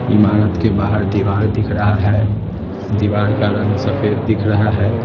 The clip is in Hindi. इमारत के बाहर दीवार दिख रहा है दीवार का रंग सफेद दिख रहा है।